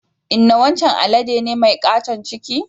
Inna wancan alade ne mai katon ciki.